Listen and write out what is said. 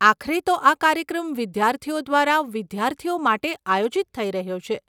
આખરે તો આ કાર્યક્રમ વિદ્યાર્થીઓ દ્વારા, વિદ્યાર્થીઓ માટે આયોજિત થઇ રહ્યો છે.